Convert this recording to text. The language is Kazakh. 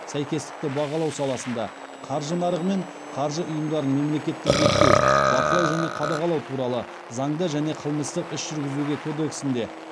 сәйкестікті бағалау саласында қаржы нарығы мен қаржы ұйымдарын мемлекеттік реттеу бақылау және қадағалау туралы заңда және қылмыстық іс жүргізуге кодексінде